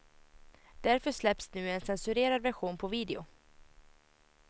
Därför släpps nu en censurerad version på video.